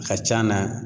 A ka c'an na